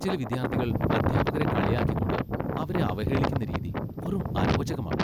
ചില വിദ്യാർത്ഥികൾ അധ്യാപകരെ കളിയാക്കിക്കൊണ്ട് അവരെ അവഹേളിക്കുന്ന രീതി വെറും അരോചകമാണ്.